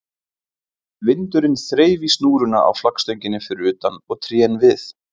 Vindurinn þreif í snúruna á flaggstönginni fyrir utan og trén við